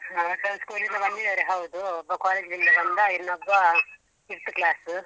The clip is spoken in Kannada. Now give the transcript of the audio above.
ಹ school ಇಂದ ಬಂದಿದ್ದಾರೆ ಹೌದು ಒಬ್ಬ college ಇಂದ ಬಂದ ಇನ್ನೊಬ್ಬ fifth class .